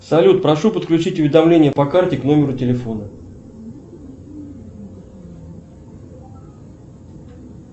салют прошу подключить уведомления по карте к номеру телефона